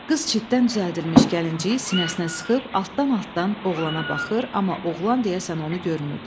Qız çitdən düzəldilmiş gəlinciyi sinəsinə sıxıb altdan-altdan oğlana baxır, amma oğlan deyəsən onu görmürdü.